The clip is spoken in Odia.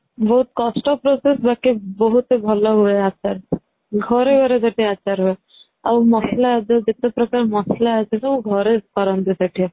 ବହୁତ କଷ୍ଟ process ବାକି ବହୁତ ହି ଭଲ ହୁଏ ଆଚାର ଟା ଘରେ ଘରେ ସେଠି ଆଚାର ହୁଏ .ଆଉ ମସଲା ଯଉ ଯେତେ ପ୍ରକାର ମସଲା ଅଛି ସବୁ ଘରେ କରନ୍ତି ସେଠି